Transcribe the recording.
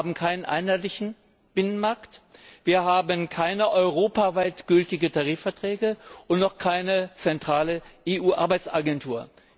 Wir haben keinen einheitlichen Arbeitsmarkt, wir haben keine europaweit gültigen Tarifverträge und noch keine zentrale EU Arbeitsagentur.